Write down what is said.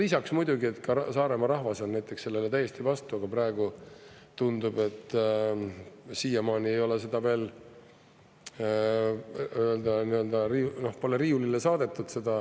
Lisaks, muidugi Saaremaa rahvas on näiteks sellele täiesti vastu, aga praegu tundub, et siiamaani ei ole seda veel riiulile saadetud.